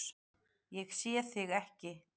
Ég sé þig ekki.